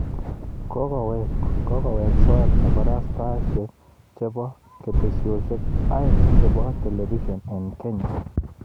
Kokoweek soet kabarastaeshek chebo ketesyosyek aeng chebo telebision eng Kenya